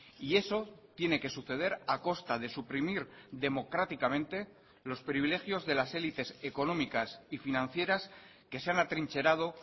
y eso tiene que suceder a costa de suprimir democráticamente los privilegios de las élites económicas y financieras que se han atrincherado